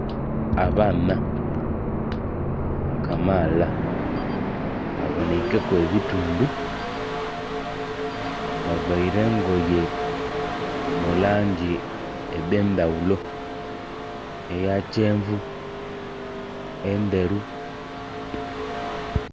Abaana kamaala baboneikeku ebitundhu bavaire engoye mu langi edh'endhaghulo, eya kyenvu, endheru.